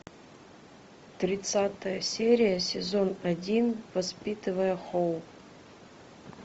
тридцатая серия сезон один воспитывая хоуп